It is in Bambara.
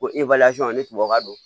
Ko ni tubabu ka don